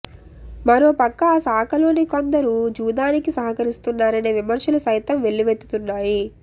మరో ప్రక్క ఆ శాఖలోని కోందరు జూదానికి సహకరిస్తున్నారనే విమర్శలు సైతం వెల్లువెత్తుతున్నాయి